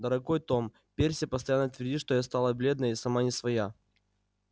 дорогой том перси постоянно твердит что я стала бледная и сама не своя